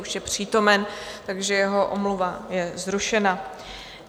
Už je přítomen, takže jeho omluva je zrušena.